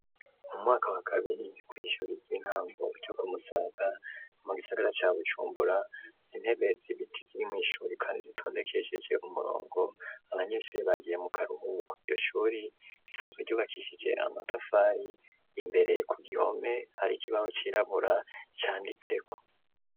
Mu mwaka wa kabiri ku ishure ry'intango ryo kumusaga mu gisagara ca Bujumbura izintebe zibiti ziri mw'ishuri kandi zitondekesheje umurongo abanyeshure bagiye mu karuhuko, iryo shuri risanzwe ryubakishije amatafari imbere ku gihome hari kibaho cyirabura canditse ko.